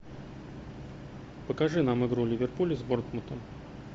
покажи нам игру ливерпуля с борнмутом